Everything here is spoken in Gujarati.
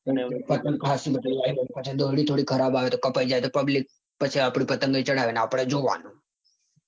અને પતંગ ખાસી બધી હોય ને પછી ડૉયડી થોડી ખરાબ આવે તો કપાઈ જાય તો public આપડી પતંગ ચગાવે ને આપડે પછી જોવાનું